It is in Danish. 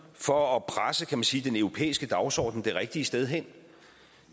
for at presse kan man sige den europæiske dagsorden det rigtige sted hen